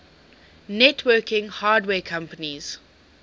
networking hardware companies